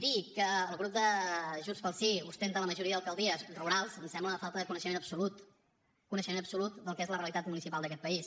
dir que el grup de junts pel sí ostenta la majoria d’alcaldies rurals em sembla una falta de coneixement absolut coneixement absolut del que és la realitat municipal d’aquest país